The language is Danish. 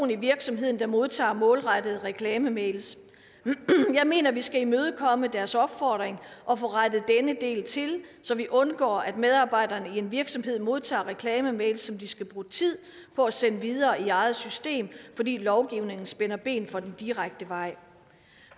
i virksomheden der modtager målrettede reklamemails jeg mener at vi skal imødekomme deres opfordring og få rettet denne del til så vi undgår at medarbejderne i en virksomhed modtager reklamemails som de skal bruge tid på at sende videre i eget system fordi lovgivningen spænder ben for den direkte vej